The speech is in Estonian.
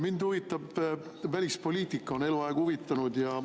Mind huvitab välispoliitika, on eluaeg huvitanud.